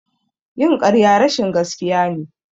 Yin ƙarya rashin gaskiya ne.